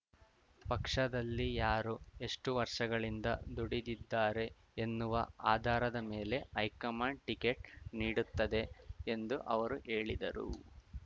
ಪಕ್ಷದಲ್ಲಿ ಯಾರು ಎಷ್ಟುವರ್ಷಗಳಿಂದ ದುಡಿದಿದ್ದಾರೆ ಎನ್ನುವ ಆಧಾರದ ಮೇಲೆ ಹೈಕಮಾಂಡ್‌ ಟಿಕೆಟ್‌ ನೀಡುತ್ತದೆ ಎಂದು ಅವರು ಹೇಳಿದರು